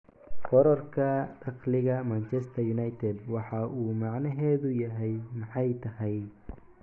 "Kororka dakhliga Manchester United, waxa uu macnaheedu yahay maxay tahay?"